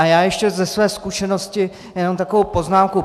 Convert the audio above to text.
A já ještě ze své zkušenosti jenom takovou poznámku.